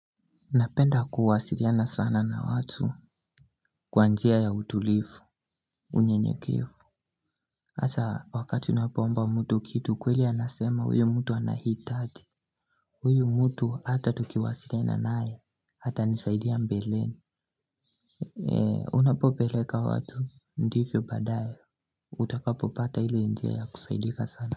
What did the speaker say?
Napenda kuwasiliana sana na watu kwa njia ya utulivu, unyenyekevu. Hata wakati unapoomba mtu kitu kweli anasema huyu mtu anahitaji. Huyu mtu hata tukiwasiliana naye, atanisaidia mbeleni. Unapopeleka watu, ndivyo baadaye, utakapopata hili njia ya kusaidika sana.